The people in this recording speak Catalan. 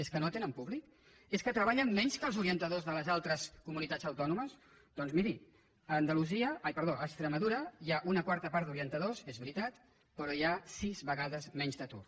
és que no tenen públic és que treballen menys que els orientadors de les altres comunitats autònomes doncs miri a extremadura hi ha una quarta part d’orientadors és veritat però hi ha sis vegades menys d’atur